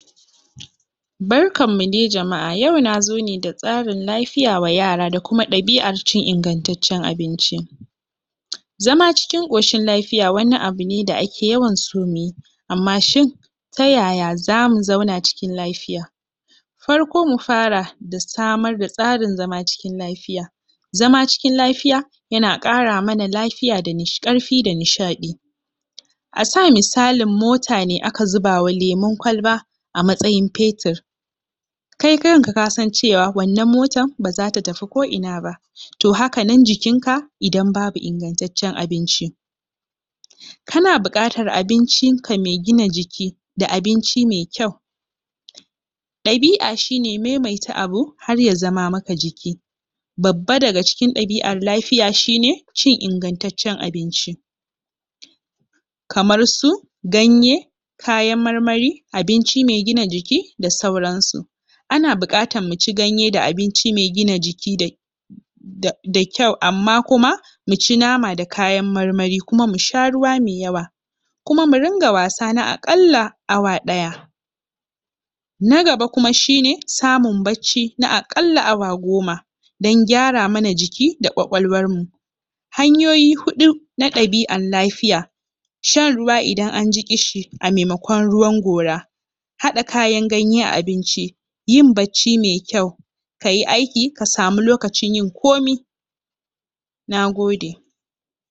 Barkan mu dai jama'a! tsarin lafiya wa yara da kuma ɗabi'ar cin ingantaccen abinci zama cikin ƙoshin lafiya wani abu ne da ake yawan so muyi amma shin ta yaya zamu zauna cikin lafiya farko mu fara da samar da tsarin zama cikin lafiya zama cikin lafiya yana ƙara mana lafiya, ƙarfi da nishaɗi a sa misalin mota ne aka zubawa lemun kwalba a matsayin fetur kai kanka kasan cewa wannan motan ba zata tafi ko ina ba toh haka nan jikinka idan babu ingantaccen abinci kana buƙatar abincinka mai gina jiki da abinci mai kyau ɗabi'a shi ne maimaita abu har ya zama maka jiki babba daga cikin ɗabi'ar lafiya shi ne cin ingantaccen abinci kamar su ganye kayan marmari abinci mai gina jiki da sauran su ana buƙatar muci ganye da abinci mai gina jiki da da da kyau amma kuma muci nama da kayan marmari kuma musha ruwa mai yawa kuma mu ringa wasa na aƙalla na awa ɗaya na gaba kuma shi ne samun bacci na aƙalla awa goma dan gyara mana jiki da ƙwaƙwalwar mu hanyoyi huɗu na ɗabi'an lafiya shan ruwa idan anji ƙishi a maimakon na gora haɗa kayan ganye a abinci yin bacci mai kyau kayi aiki ka samu lokacin yin komi Nagode!